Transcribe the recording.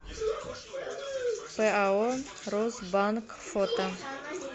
пао росбанк фото